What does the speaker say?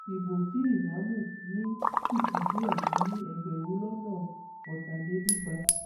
ibo tí ìyàmu ní sì fi díẹ dín ní ẹgbẹrún lọnà ọtàlélúgba